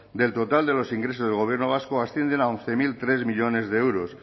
del total de los ingresos del gobierno vasco ascienden a once mil tres millónes de euros